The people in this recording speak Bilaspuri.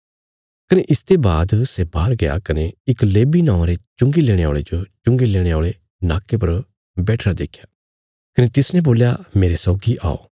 कने इसते बाद सै बाहर गया कने इक लेवी नौआं रे चुंगी लेणे औल़े जो चुंगी लेणे औल़े नाक्के पर बैठिरा देख्या कने तिसने बोल्या मेरे सौगी औ